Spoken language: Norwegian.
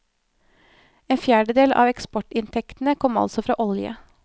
En fjerdedel av eksportinntektene kom altså fra olje.